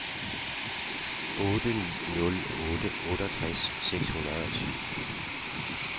otte ni nul otte otteogtres seks hundrede og syv